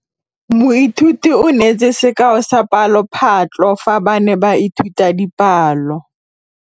Moithuti o neetse sekaô sa palophatlo fa ba ne ba ithuta dipalo.